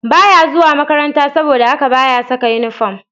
Ba ya zuwa makaranta, saboda haka ba ya saka inifom